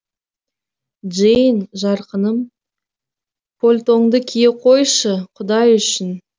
джейн жарқыным польтоңды кие қойшы құдай үшін